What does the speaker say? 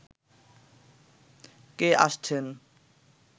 কে আসছেন